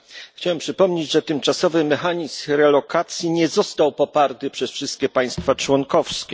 Chciałem przypomnieć, że tymczasowy mechanizm relokacji nie został poparty przez wszystkie państwa członkowskie.